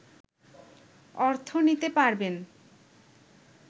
অর্থ নিতে পারবেন